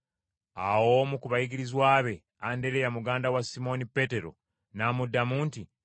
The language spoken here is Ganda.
Awo omu ku bayigirizwa be, Andereya muganda wa Simooni Peetero, n’amugamba nti,